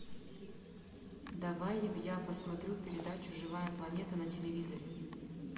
давай я посмотрю передачу живая планета на телевизоре